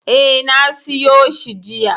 E, na siyo shi jiya.